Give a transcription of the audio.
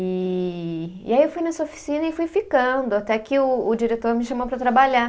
E e aí eu fui nessa oficina e fui ficando até que o o diretor me chamou para trabalhar.